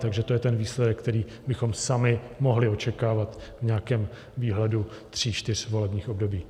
Takže to je ten výsledek, který bychom sami mohli očekávat v nějakém výhledu tří čtyř volebních období.